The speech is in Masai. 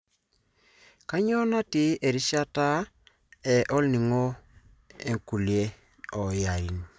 Kanyio natii erishata e olningo e Nuklia o Iran.